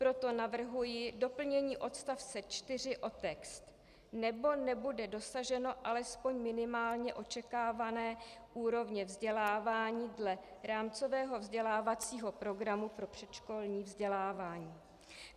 Proto navrhuji doplnění odstavce 4 o text: nebo nebude dosaženo alespoň minimálně očekávané úrovně vzdělávání dle rámcového vzdělávacího programu pro předškolní vzdělávání.